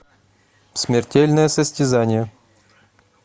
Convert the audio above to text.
смертельное состязание